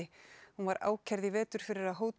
hún var ákærð í vetur fyrir að hóta